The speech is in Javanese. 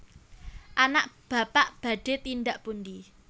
anak Bapak badhe tindak pundi